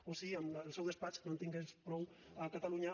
o si amb el seu despatx no en tingués prou a catalunya